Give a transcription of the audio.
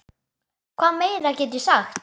Hvað meira get ég sagt?